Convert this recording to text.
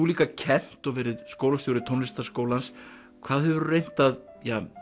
líka kennt og verið skólastjóri Tónlistarskólans hvað hefurðu reynt að